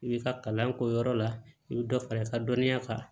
I bi ka kalan k'o yɔrɔ la i bɛ dɔ fara i ka dɔnniya kan